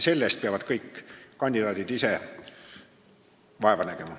Selle nimel peavad kõik kandidaadid ise vaeva nägema.